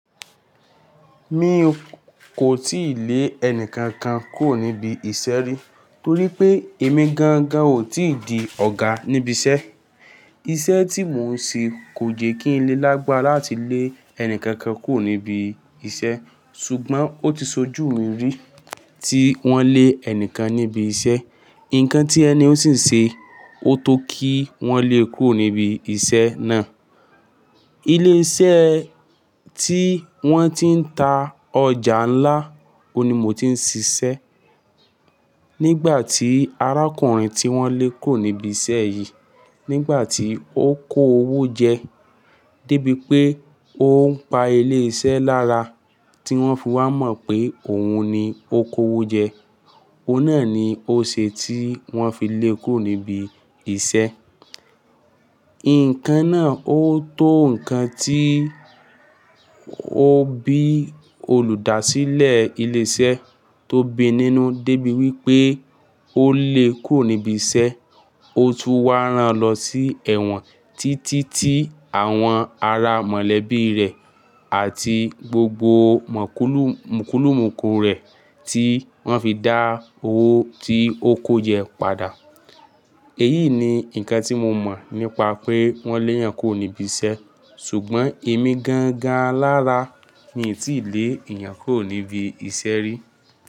Mi ò kò tíì lé ẹni kankan kúrò níbi iṣẹ́ rí, torí pé èmi gangan ò tí di ọ̀gá níbi iṣẹ́. Iṣẹ́ tí mò ń ṣe kò jẹ kí n lé lágbára láti lé ẹni kankan kúrò níbi iṣẹ́. Ṣùgbọ́n ó ti ṣojú mi rí tí wọ́n lé ẹni kan níbi iṣẹ́. Nǹkan tí ẹnihun sì ṣe, ó tó kí wọ́n lé e kúrò níbi iṣẹ́ náà. Ilé iṣẹ́ tí wọ́n ti ń ta ọjà ńlá, òun ni mò tí ń ṣiṣẹ́. Nígbà tí arákùnrin tí wọ́n lé kúrò níbi iṣẹ́ yìí, nígbà tí ó kó owó jẹ, dé bí pé ó ń pa ilé iṣẹ́ lára, tí wọ́n fi wá mọ̀ pé òun ni ó kó owó jẹ. Óun náà ni ó ṣe tí wọ́n fi lé e kúrò níbi iṣẹ́. Nǹkan náà ó tó nǹkan tí ó bí olùdásílẹ̀ ilé iṣẹ́ tó bi nínú dé bí wí pé ó lé e kúrò níbi iṣẹ́. Ó tún wá rán lọ sí ẹ̀wọ̀n títí tí àwọn ará mọ̀lẹ́bí rẹ̀ àti gbogbo mòkúlù mukùlùmuku rẹ̀ tí wọ́n fi dá owó tí ó kó jẹ padà. Èyí ni nǹkan tí mo mọ̀ nípa pé wọ́n lé ẹeyan kúrò níbi iṣẹ́. Ṣùgbọ́n èmi gangan alára mi n tíì lé ẹ̀eyàn kúrò níbi iṣẹ́ rí.